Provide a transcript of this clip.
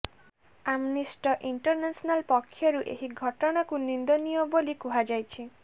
Amnesty International ପକ୍ଷରୁ ଏହି ଘଟଣାକୁ ନିନ୍ଦନୀୟ ବୋଲି କୁହାଯାଇଛି